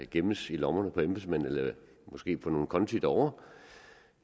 gemmes i lommerne på embedsmænd eller måske på nogle konti derovre